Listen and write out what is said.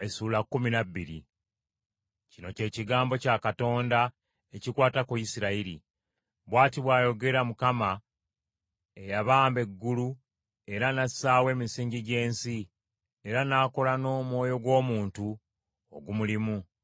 Kino ky’ekigambo kya Katonda ekikwata ku Isirayiri. Bw’ati bw’ayogera Mukama eyabamba eggulu era n’assaawo emisingi gy’ensi, era n’akola n’omwoyo gw’omuntu ogumulimu.